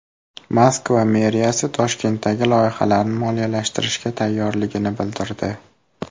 Moskva meriyasi Toshkentdagi loyihalarni moliyalashtirishga tayyorligini bildirdi.